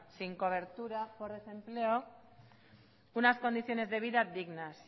sin cobertura por desempleo unas condiciones de vida dignas